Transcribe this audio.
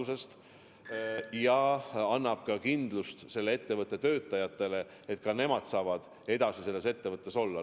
See annab nende ettevõtete töötajatele kindlust, et nad saavad oma ettevõttes edasi olla.